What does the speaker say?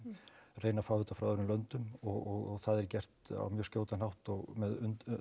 reyna að fá þetta frá öðrum löndum og það er gert á mjög skjótan hátt með